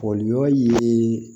Fɔli yɔrɔ ye